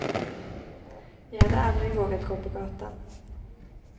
Jag hade aldrig vågat gå på gatan.